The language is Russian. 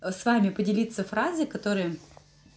ээ с вами поделиться фразой которая